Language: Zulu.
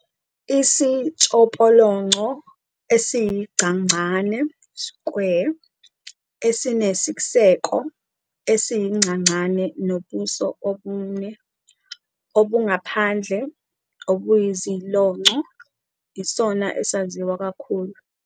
Isitshopolonco esiyigcagcane "square", esinesiseko esiyigcagcane nobuso obune obungaphandle obuyizilonco, isona esaziwa kakhulu.